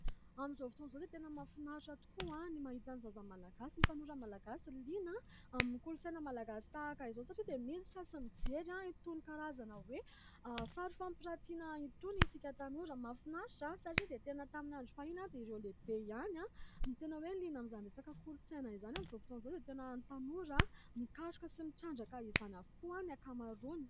Amin'izao fotoan'izao dia tena mahafinaritra tokoa ny mahita ny zaza malagasy, ny tanora malagasy liana amin'ny kolontsaina malagasy tahaka izao satria dia miditra sy mijery an' itony karazana hoe sary fampiratiana itony ; isika tanora mahafinaritra satria dia tena tamin'ny andro fahiny dia ireo lehibe ihany ny tena hoe liana amin'izany resaka kolontsaina izany. Amin'izao foton'izao dia tena ny tanora mikaroka sy mitrandraka izany avokoa ny ankamaroany.